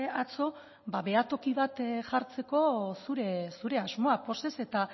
atzo behatoki bat jartzeko zure asmoak pozez eta